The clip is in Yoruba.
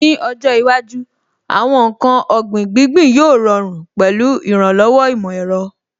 Ní ọjọ́ iwájú, àwọn ǹkan ọ̀gbìn gbíngbín yóò rọrùn pẹ̀lú ìrànlọ́wọ́ ìmọ̀ ẹ̀rọ.